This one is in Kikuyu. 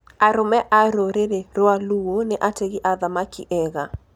Arũme a rũrĩrĩ rwa Luo nĩ ategi a thamaki ega.